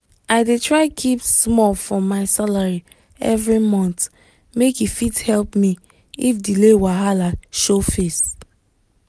i dey try keep small from my salary every month make e fit help me if delay wahala show face.